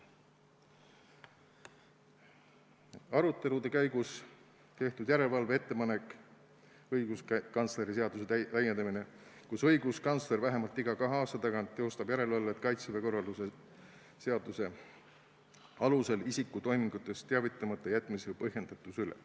Arutelude käigus tehtud järelevalve ettepanek, õiguskantsleri seaduse täiendamine, kus õiguskantsler vähemalt iga kahe aasta tagant teostab järelevalvet Kaitseväe korralduse seaduse alusel isiku toimingutest teavitamata jätmise põhjendatuse üle.